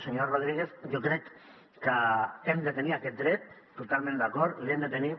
senyor rodríguez jo crec que hem de tenir aquest dret totalment d’acord l’hem de tenir